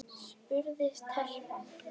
spurði telpan.